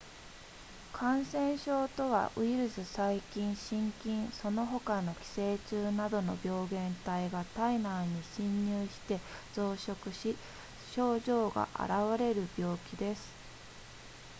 感染症とはウイルス細菌真菌その他の寄生虫などの病原体が体内に侵入して増殖し症状が現れる病気です